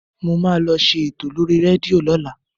Mo máa lọ ṣe ètò lórí rédíò lọ́la